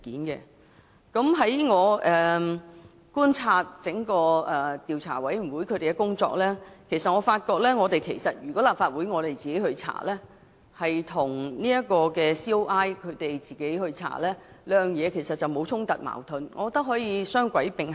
經過觀察調查委員會的工作後，我認為即使立法會自行展開調查，也不會與調查委員會的調查工作產生衝突或矛盾，可以雙軌並行。